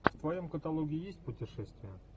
в твоем каталоге есть путешествия